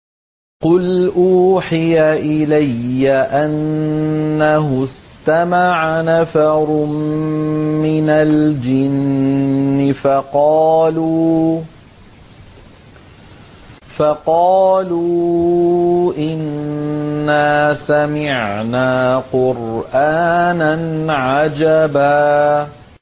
قُلْ أُوحِيَ إِلَيَّ أَنَّهُ اسْتَمَعَ نَفَرٌ مِّنَ الْجِنِّ فَقَالُوا إِنَّا سَمِعْنَا قُرْآنًا عَجَبًا